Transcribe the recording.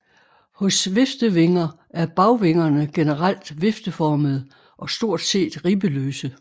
Hos viftevinger er bagvingerne generelt vifteformede og stort set ribbeløse